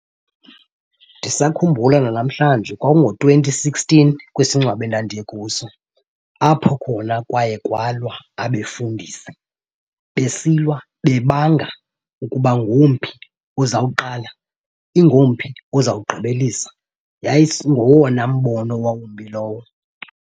Ndisakhumbula nanamhlanje kwakungo-twenty sixteen kwisingcwabo endandiye kuso apho khona kwaye kwalwa abefundisi, besilwa bebanga ukuba ngomphi ozawuqala, ingomphi ozawugqibelisa. Yayingowona mbono wawumbi lowo.